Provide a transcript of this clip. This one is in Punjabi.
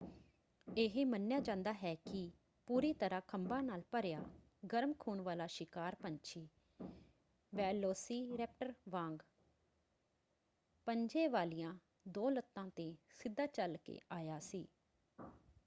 ਇਹ ਮੰਨਿਆ ਜਾਂਦਾ ਹੈ ਕਿ ਪੂਰੀ ਤਰ੍ਹਾਂ ਖੰਭਾਂ ਨਾਲ ਭਰਿਆ ਗਰਮ ਖੂਨ ਵਾਲਾ ਸ਼ਿਕਾਰ ਪੰਛੀ ਵੈਲੋਸੀਰੈਪਟਰ ਵਾਂਗ ਪੰਜੇ ਵਾਲੀਆਂ ਦੋ ਲੱਤਾਂ ‘ਤੇ ਸਿੱਧਾ ਚੱਲ ਕੇ ਆਇਆ ਸੀ।